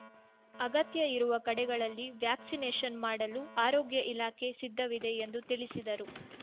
ಅಗತ್ಯ ಇರುವ ಕಡೆಗಳಲ್ಲಿ ವ್ಯಾಕ್ಸಿನೇಷನ್‌ ಮಾಡಲು ಆರೋಗ್ಯ ಇಲಾಖೆ ಸಿದ್ಧವಿದೆ ಎಂದು ತಿಳಿಸಿದರು